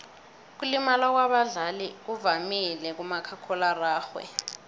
ukulimala kwabadlali kuvamile kumakhakhulararhwe